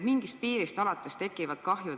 Mingist piirist alates tekivad kahjud.